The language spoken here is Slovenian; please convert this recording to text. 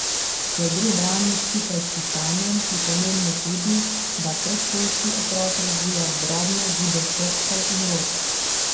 Ker gre branje skupaj s pisanjem, je pomembno tudi, da predšolski otrok razvija drobne gibe prstov in rok.